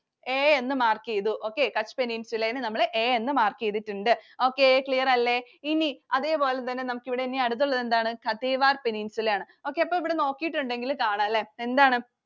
A ന്നു mark ചെയ്തു. okay, Kutch Peninsula യെ നമ്മൾ A എന്ന് mark ചെയ്തിട്ടുണ്ട്. Okay clear അല്ലെ ഇനി അതേപോലെതന്നെ നമുക്ക് ഇവിടെ ഇനി അടുത്തുള്ളത് എന്താണ് Kathiawar Peninsula ആണ്. okay അപ്പൊ ഇവിടെ നോക്കിയിട്ടുണ്ടെങ്കിൽ കാണാം അല്ലെ. എന്താണ്?